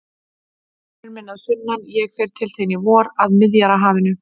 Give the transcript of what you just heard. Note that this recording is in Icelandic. Vinur minn að sunnan, ég fer til þín í vor, að Miðjarðarhafinu.